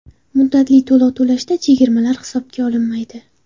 Muddatli to‘lov to‘lashda chegirmalar hisobga olinmaydi.